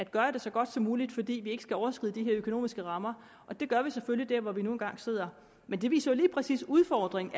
gøre det så godt som muligt fordi vi ikke skal overskride de økonomiske rammer vi gør det selvfølgelig hvor vi nu engang sidder men det viser jo lige præcis udfordringen